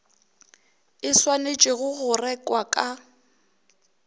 e swanetšwego go rekwa ka